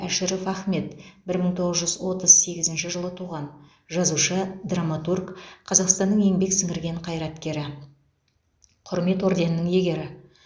әшіров ахмет бір мың тоғыз жүз отыз сегізінші жылы туған жазушы драматург қазақстанның еңбек сіңірген қайраткері құрмет орденінің иегері